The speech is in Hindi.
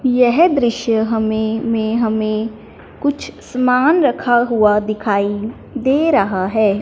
यह दृश्य हमें में हमें कुछ सामान रखा हुआ दिखाई दे रहा है।